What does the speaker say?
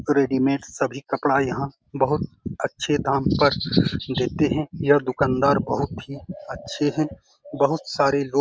readymade सभी कपड़ा यहाँ बहुत अच्छे दाम पर देते हैं यह दुकानदार बहुत ही अच्छे हैं बहुत सारे लो --